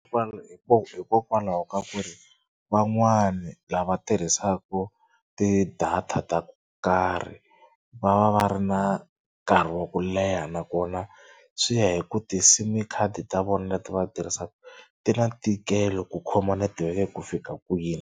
hikokwalaho ka ku ri van'wani lava tirhisaka ti-data ta ku nkarhi va va va ri na nkarhi wa ku leha nakona swi ya hi ku ti-sim card ta vona leti va tirhisaka ti na ntikelo ku khoma netiweke ku fika kwini.